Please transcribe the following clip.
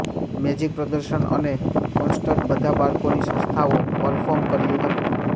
magic પ્રદર્શન અને concert બધા બાળકોની સંસ્થાઓ પરફોર્મ કર્યું હતું